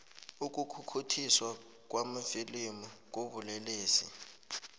ukukhukhuthiswa kwamafilimu kubulelesi